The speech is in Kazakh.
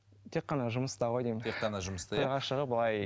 тек қана жұмыста ғой деймін тек қана жұмыста иә